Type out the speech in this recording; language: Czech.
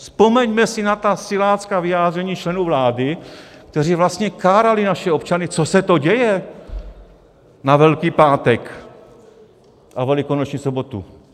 Vzpomeňme si na ta silácká vyjádření členů vlády, kteří vlastně kárali naše občany, co se to děje na Velký pátek a velikonoční sobotu.